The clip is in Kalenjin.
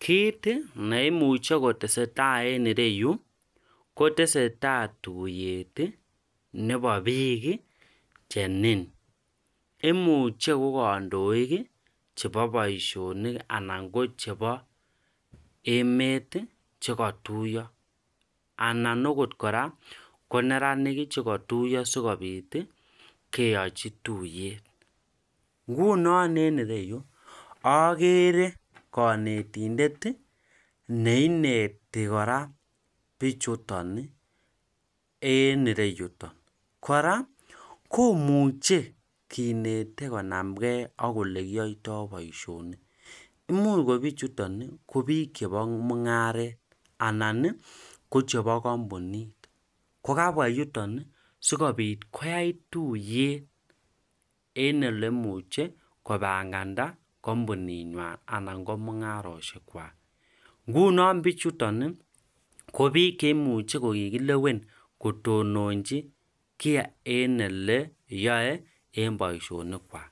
kiit neimuche kotesetai enre yu kotesetai tuiyet nebo biik chenin. imuche ko kandoik chebo boisionikanan ko chebo emet chekatuiyo anan akot kora koneranik chekatuiyo sikobiit keachi tuiyet. ngunon enre yu ageere kanetindet neineti kora biichuto enreyutok. kora komuche kinete konamgei akolekiyaitoi boisionik, muuch ko biichuton ko biik chebo mung'aret anan kochebo kampunit kokabwa yuton sikobiit koyai tuiyet en olemuche kopanganda kampunitnywai anan ngo mung'arosiek kwai. ngunon biichuton, ko biik cheimuche kokilewen kotononchi kia en oleyae en boisionik kwai.